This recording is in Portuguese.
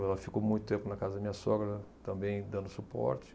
Ela ficou muito tempo na casa da minha sogra, também dando suporte.